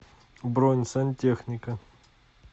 бронь сантехника